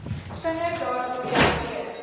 vinniger daarop reageer